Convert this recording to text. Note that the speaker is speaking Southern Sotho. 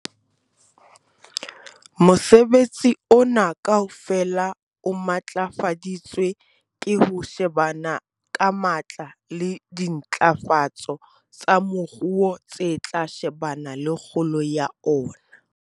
Mosebetsi ona kaofela o matlafaditswe ke ho shebana ka matla le dintlafatso tsa moruo tse tla shebana le kgolo ya ona.